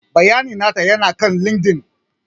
Bayanai nata ya na kan LinkedIn.